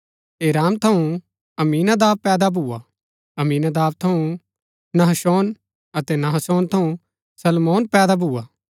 एराम थऊँ अम्मीनादाब पैदा भुआ अम्मीनादाब थऊँ नहशोन अतै नहशौन थऊँ सलमोन पैदा भुआ